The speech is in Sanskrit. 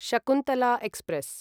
शकुन्तला एक्स्प्रेस्